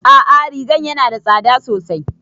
A'a rigan yana da tsada sosai